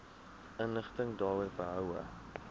inligting daaroor behoue